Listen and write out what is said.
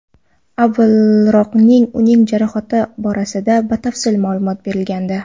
Avvalroqning uning jarohati borasida batafsil ma’lumot berilgandi .